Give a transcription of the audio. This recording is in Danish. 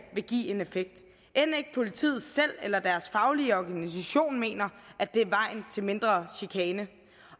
vil give en effekt end ikke politiet selv eller deres faglige organisation mener at det er vejen til mindre chikane